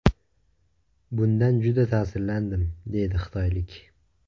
Bundan juda ta’sirlandim”, deydi xitoylik.